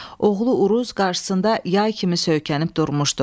Oğlu Uruz qarşısında yay kimi söykənib durmuşdu.